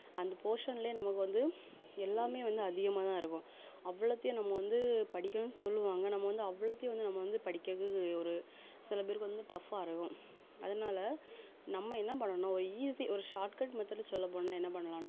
அந்த portion லயே நமக்கு வந்து எல்லாமே வந்து அதிகமாதான் இருக்கும் அவ்வளத்தையும் நம்ம வந்து படிக்கணும்ன்னு சொல்லுவாங்க நம்ம வந்து அவ்வளோத்தையும் வந்து நம்ம வந்து படிக்கிறது ஒரு சில பேருக்கு வந்து tough ஆ இருக்கும் அதனால நம்ம என்ன பண்ணணும் ஒரு easy ஒரு shortcut method சொல்லப் போனா என்ன பண்ணலாம்னா